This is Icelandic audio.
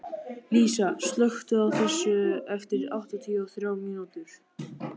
Lísa, slökktu á þessu eftir áttatíu og þrjár mínútur.